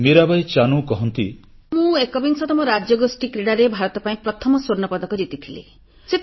ମୀରା ବାଇ ଚାନୁ କହନ୍ତି ମୁଁ ଏକବିଂଶ ରାଜ୍ୟଗୋଷ୍ଠୀ କ୍ରୀଡ଼ାରେ ଭାରତ ପାଇଁ ପ୍ରଥମ ସ୍ୱର୍ଣ୍ଣପଦକ ଜିତିଥିଲି